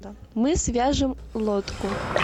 мы свяжем лодку